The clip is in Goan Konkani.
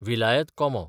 विलायत कोमो